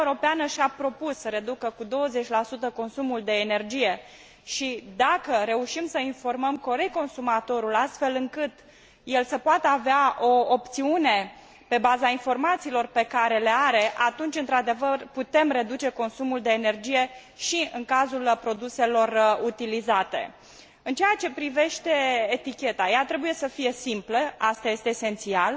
Uniunea Europeană și a propus să reducă cu 20 consumul de energie și, dacă reușim să informăm corect consumatorul, astfel încât el să poată avea o opțiune pe baza informațiilor pe care le are, atunci într adevăr putem reduce consumul de energie și în cazul produselor utilizate. În ceea privește eticheta, ea trebuie să fie simplă, asta este esențial